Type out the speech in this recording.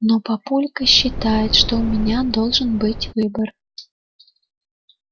но папулька считает что у меня должен быть выбор